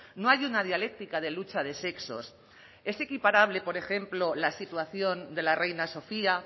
no hay una dialéctica de lucha de sexos es equiparable por ejemplo la situación de la reina sofía